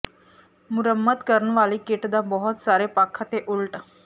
ਮੁਰੰਮਤ ਕਰਨ ਵਾਲੀ ਕਿੱਟ ਦਾ ਬਹੁਤ ਸਾਰੇ ਪੱਖ ਅਤੇ ਉਲਟ